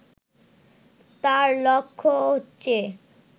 তাঁর লক্ষ্য হচ্ছে